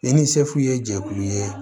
I ni sefu ye jɛkulu ye